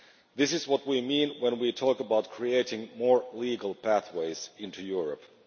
This is what we mean when we talk about creating more legal pathways into Europe.